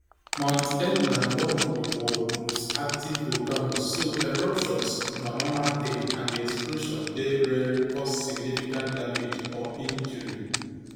mount etna na one of di world most active volcanoes so eruptions na normal tin and di explosion dey rarely cause significant damage or injury